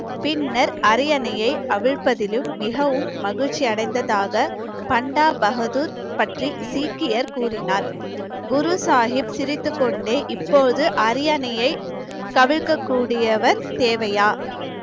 பின்னர் அரியணையை அவிழ்ப்பதிலும் மிகவும் மகிழ்ச்சி அடைந்ததாக பண்டா பகதூர் பற்றி சீக்கியர் கூறினார் குரு சாஹிப் சிரித்துக்கொண்டே இப்போது அரியணையை தேவையா